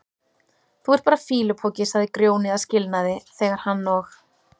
Þú ert bara fýlupoki, sagði Grjóni að skilnaði þegar hann og